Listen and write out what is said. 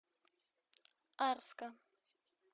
арска